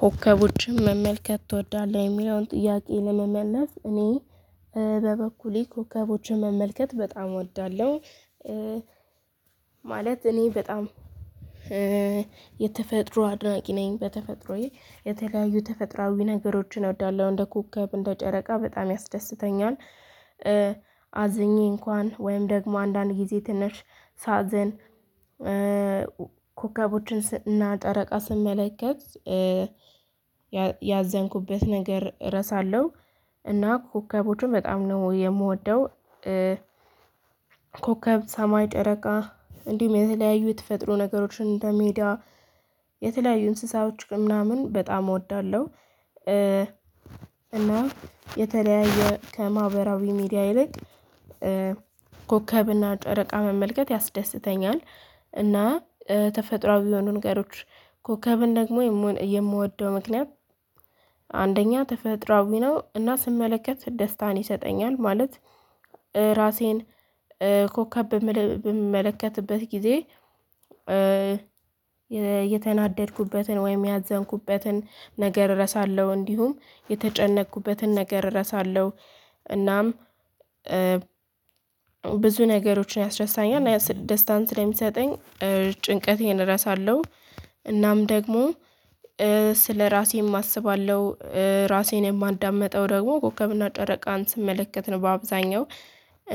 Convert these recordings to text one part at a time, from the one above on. ኮከቦችን መመልከት ትወዳለህ የሚለውን ጥያቄ ለመመለስ እኔ በበኩሌ ኮከቦችን መመልከት በጣም እወዳለሁ። ማለት እኔ በጣም የተፈጥሮ አድናቂ ነኝ በተፈጥሮዬ የተለያዩ ተፈጥሯዊ ነገሮችን እወዳለሁ እንደ ኮከብ እንደ ጨረቃ በጣም ያስደስተኛል። አዝኜ እንኳን ወይም ደግሞ አንዳንድ ጊዜ ትነሽ ሳዝን ኮከቦችን እና ጠረቃ ስመለከት ያዘንኩበት ነገር እረሳለሁ እና ኮከቦቹን በጣም ነው የምወደው። ኮከብ ሰማይ ጨረቃ እንዲሁም የተለያዩ የተፈጥሮ ነገሮችን እንደ ሜዳ የተለያዩ እንስሳዎች ግን ምናምን በጣም እወዳለሁ። እና የተለያየ ከማህበራዊ ሚዲያ ይልቅ ኮከብና ጨረቃ መመልከት ያስደስተኛል። እና ተፈጥሮአዊ የሆኑ ንገሮች ኮከብን ደግሞ የምወደው ምክንያት አንደኛ ተፈጥሮአዊ ነው እና ስመለከት ደስታን ይሰጠኛል። ማለት ራሴን ኮከብ በምመለከትበት ጊዜ የተናደድኩበትን ወይም ያዘንኩበትን ነገር እረሳለሁ እንዲሁም የተጨነኩበትን ነገር እረሳለሁ። እናም ብዙ ነገሮችን ያስረሳኛል ደስታን ስለሚሰጠኝ ጭንቀቴን እረሳለሁ። እናም ደግሞ ስለራሴም አስባለሁ ራሴን የማዳምጠው ደግሞ ኮከብና ጨረቃን ስመለከት ነው። በአብዛኛው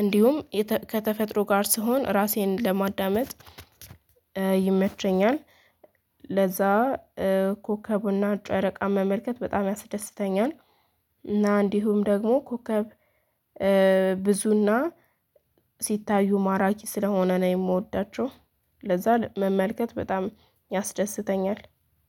እንዲሁም ከተፈጥሮ ጋር ስሆን ራሴን ለማዳመጥ ይመቸኛል። ለዛ ኮከቡና ጨረቃ መመልከት በጣም ያስደስተኛል። እና እንዲሁም ደግሞ ኮከብ ብዙና ሲታዩ ማራኪ ስለሆነ ነው የምወዳቸው ለዛ መመልከት በጣም ያስደስተኛል